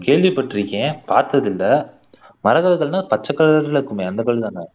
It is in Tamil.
கேள்விப்பட்டிருக்கேன் பார்த்ததில்லை மரகத கல்லுன்னா பச்சை கலர்ல இருக்குமே அந்த கல்லு தானே